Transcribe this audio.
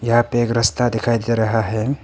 यहां पे एक रास्ता दिखाई दे रहा है।